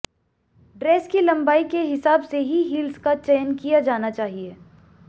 dress की लंबाई के हिसाब से ही हील्स का चयन किया जाना चाहिए